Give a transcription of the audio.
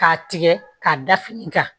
K'a tigɛ k'a da fini kan